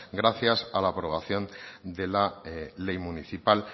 gracias a la aprobación de la ley municipal